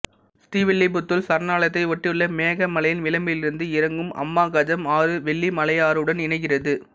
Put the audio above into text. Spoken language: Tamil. ஸ்ரீவில்லிபுத்தூர் சரணாலயத்தை ஒட்டியுள்ள மேகமலையின் விளம்பிலிருந்து இறங்கும் அம்மா கஜம் ஆறு வெள்ளிமலையாறுடன் இணைகிறது